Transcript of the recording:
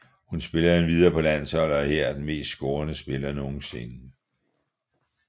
Hun spiller endvidere på landsholdet og er her den mest scorende spiller nogensinde